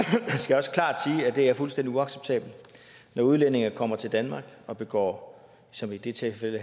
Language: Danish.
det er fuldstændig uacceptabelt når udlændinge kommer til danmark og begår som i det tilfælde